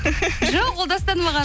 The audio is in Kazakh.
жоқ ол дастан маған